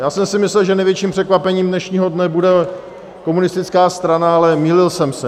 Já jsem si myslel, že největším překvapením dnešního dne bude komunistická strana, ale mýlil jsem se.